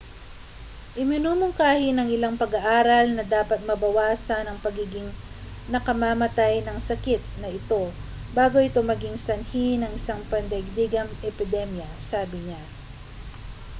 iminumungkahi ng ilang pag-aaral na dapat mabawasan ang pagiging nakamamatay ng sakit na ito bago ito maging sanhi ng isang pandaigdigang epidemya sabi niya